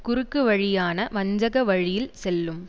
குறுக்குவழியான வஞ்சக வழியில் செல்லும்